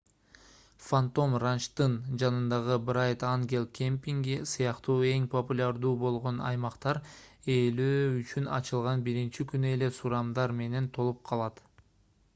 фантом ранчтын жанындагы брайт ангел кемпинги сыяктуу эң популярдуу болгон аймактар ээлөө үчүн ачылган биринчи күнү эле сурамдар менен толуп калат